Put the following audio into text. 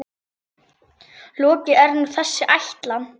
Lokið er nú þessi ætlan.